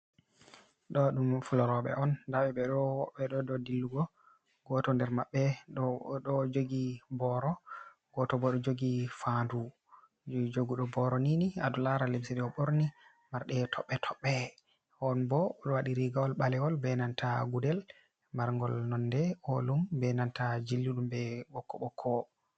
Ɗo ɗum Fula roɓe on.ndaɓe ɓe ɗo dou Dillugo. goto nder mabɓe ɗou odo jogi boro, goto bo ɗo jogi fandu. joguɗo Boronini alaran Lemse ɗe oɓorni Marɗe tobɓe tobɓe'on. onbo oɗo waɗi Rigawol ɓalewol be nanta Gudel marngol nonde olum be nanta jilliɗum be Ɓokko ɓokko.